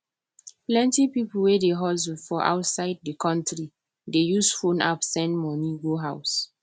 plenty people wey dey hustle for outside the country dey use phone app send money go house